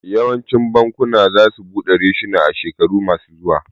Yawancin bakuna za su buɗe reshuna a shekaru ma su zuwa